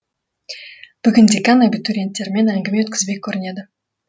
бүгін декан абитуриенттермен әңгіме өткізбек көрінеді